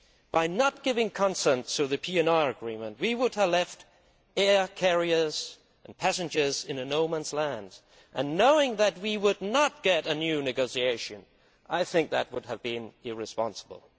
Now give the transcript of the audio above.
By not giving consent to the PNR Agreement, we would have left air carriers and passengers in a no man's land, and knowing that we would not get a new negotiation I think that would have been irresponsible.